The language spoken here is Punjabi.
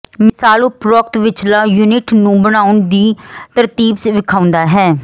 ਮਿਸਾਲ ਉਪਰੋਕਤ ਵਿਚਲਾ ਯੂਨਿਟ ਨੂੰ ਬਣਾਉਣ ਦੀ ਤਰਤੀਬ ਵੇਖਾਉਦਾ ਹੈ